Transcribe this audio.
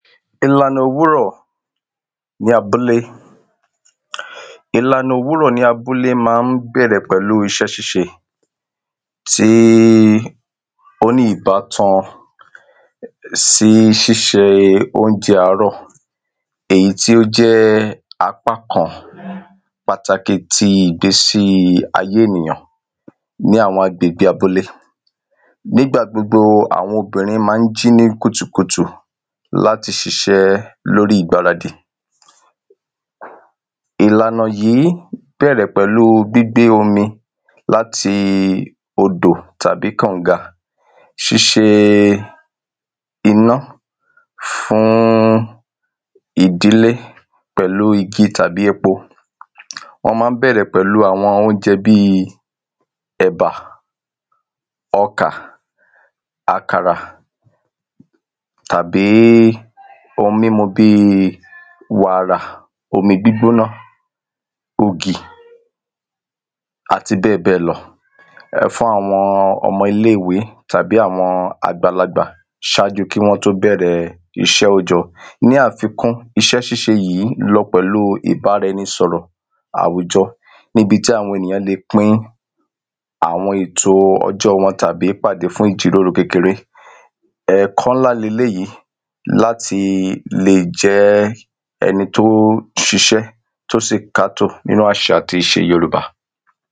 Ìlànà òwúrò̩ ní abúlé. Ìlànà òwúrò̩ ní abúlé má n bè̩rè̩ pè̩lú isé̩ s̩ís̩e tí óní ìbátan sí s̩ís̩e óúnje̩ àárò̩ èyí tí ó jé̩ apá kan pàtàkì tí ìgbésí ayé ènìyàn ní àwo̩n agbègbe abúlé. Nígbà gbogbo àwo̩n obìrin má n jí ní kùtùkùtù láti s̩is̩é̩ lórí ìgbáradì. Ìlànà yí bé̩rè̩ pè̩lu gbígbé omi láti odò tàbí kò̩nga, s̩íse iná fún ìdílé pè̩lú igi tàbí epo. Wó̩n má n bè̩rè̩ pè̩lu àwo̩n óúnje̩ bí è̩bà, o̩kà, àkàrà tàbí oun mímu bí wàrà, omi gbígbóná, ògì, àti bé̩è̩bé̩è̩ lo̩ fún àwo̩n o̩mo̩ ilé ìwé tàbí àwo̩n àgbàlagbà s̩áju kí wó̩n tó bè̩re̩ is̩é̩ ójo̩. Ní àfikún, is̩é̩ s̩ís̩e yì lo̩ pè̩lu ìbára e̩ni sò̩rò̩ àwùjo̩ níbi tí àwo̩n ènìyàn ń le pín àwo̩n èto o̩jó̩ wo̩n tàbí pàdé fún ìjìrórò kékeré. È̩kó̩ nlá leléyì láti lè jé̩ e̩ni tó s̩is̩é̩ tó sì kátò nínú às̩à ti ìs̩e yorùbá.